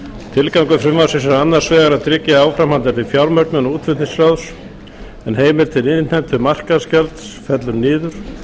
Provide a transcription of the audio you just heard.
tilgangur frumvarpsins er annars vegar að tryggja áframhaldandi fjármögnun útflutningsráðs en heimild til innheimtu markaðsgjalds fellur niður